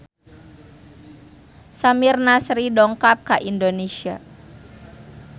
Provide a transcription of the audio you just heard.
Samir Nasri dongkap ka Indonesia